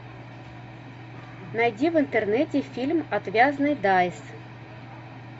найди в интернете фильм отвязный дайс